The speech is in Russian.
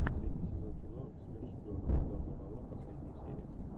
третий сезон кино смерть шпионам ударная волна последняя серия